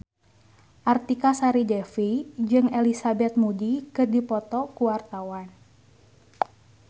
Artika Sari Devi jeung Elizabeth Moody keur dipoto ku wartawan